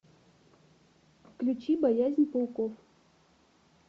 включи боязнь пауков